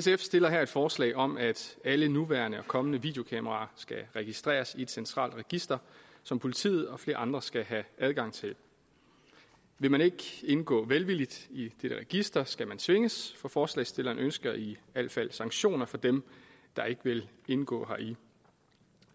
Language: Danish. sf stiller her et forslag om at alle nuværende og kommende videokameraer skal registreres i et centralt register som politiet og flere andre skal have adgang til vil man ikke indgå velvilligt i dette register skal man tvinges for forslagsstillerne ønsker i al fald sanktioner for dem der ikke vil indgå heri